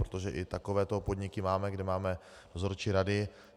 Protože i takovéto podniky máme, kde máme dozorčí rady.